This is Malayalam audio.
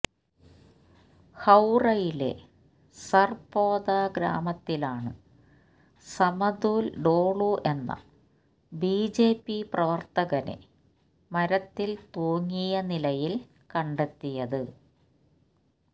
ഹൌറയിലെ സര്പോത ഗ്രാമത്തിലാണ് സമതുല് ഡോളു എന്ന ബിജെപി പ്രവര്ത്തകനെ മരത്തില് തൂങ്ങിയ നിലയില് കണ്ടെത്തിയത്